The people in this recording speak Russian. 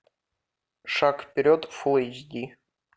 шаг вперед фул эйч ди